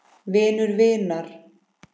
Vinur vinar?